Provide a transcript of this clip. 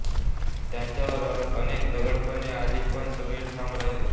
त्यांच्यावर अनेक दडपणे आली पण सगळे ठाम राहिले